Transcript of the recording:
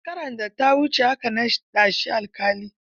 Shekarar da ta wuce aka naɗa shi alƙali.